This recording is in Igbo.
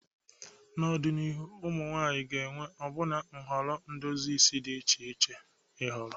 N'ọdịnihu, ụmụ nwanyị ga-enwe ọbụna nhọrọ edozi isi di iche iche ịhọrọ.